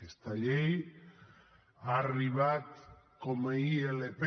aquesta llei ha arribat com a ilp